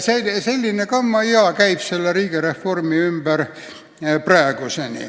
Selline kammajaa käib praegu selle riigireformi ümber.